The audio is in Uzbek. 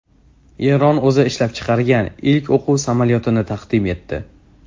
Eron o‘zi ishlab chiqargan ilk o‘quv samolyotini taqdim etdi.